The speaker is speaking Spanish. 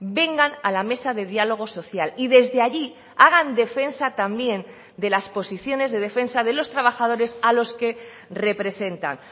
vengan a la mesa de diálogo social y desde allí hagan defensa también de las posiciones de defensa de los trabajadores a los que representan